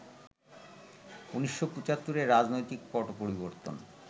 ১৯৭৫ এ রাজনৈতিক পট পরিবর্তন